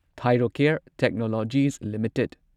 Thyrocare Technologies limited